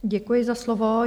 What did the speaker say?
Děkuji za slovo.